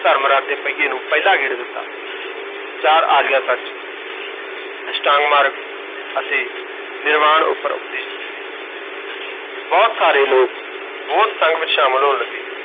ਧਰਮ ਰਥ ਦੇ ਪਹੀਏ ਨੂੰ ਪਹਿਲਾ ਗੇੜਾ ਦਿੱਤਾ, ਚਾਰ ਆਰੀਆ ਸੱਚ, ਅਸ਼ਟਾਂਗ ਮਾਰਗ ਅਤੇ ਨਿਰਵਾਣ ਉਪਰ ਉਪਦੇਸ਼ ਦਿੱਤੇ ਬਹੁਤ ਸਾਰੇ ਲੋਕ ਬੋਧਸੰਘ ਵਿਚ ਸ਼ਾਮਲ ਹੋਣ ਲੱਗੇ।